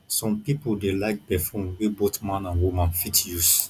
some pipo dey like perfume wey both man and woman fit use